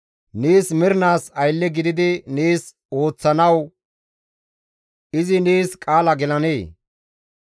Nees mernaas aylle gididi nees ooththanawu izi nees qaala gelanee?